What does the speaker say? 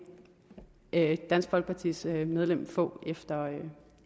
dansk folkepartis medlem få